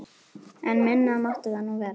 En minna mátti það nú vera.